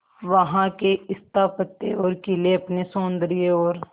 वहां के स्थापत्य और किले अपने सौंदर्य और